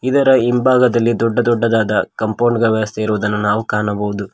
ಇದರ ಹಿಂಭಾಗದಲ್ಲಿ ದೊಡ್ಡ ದೊಡ್ಡದಾದ ಕಾಂಪೌಂಡ್ ವ್ಯವಸ್ಥೆ ಇರುವುದನ್ನು ನಾವು ಕಾಣಬಹುದು.